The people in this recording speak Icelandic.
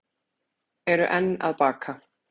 Eru enn að baka